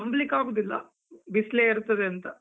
ನಂಬ್ಲಿಕ್ಕಾಗುದಿಲ್ಲ, ಬಿಸ್ಲೆ ಇರ್ತದಂತ.